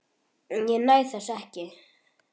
Ég næ þessu ekki.